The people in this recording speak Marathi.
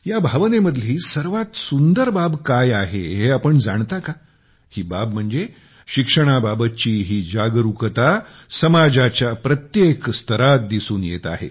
या भावनेमधली सर्वात सुंदर बाब काय आहे हे आपण जाणता का ही बाब म्हणजे शिक्षणाबाबतची ही जागरूकता समाजाच्या प्रत्येक स्तरावर दिसून येत आहे